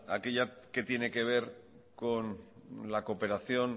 aquella que tiene que ver con la cooperación